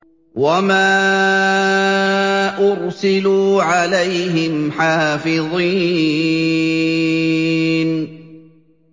وَمَا أُرْسِلُوا عَلَيْهِمْ حَافِظِينَ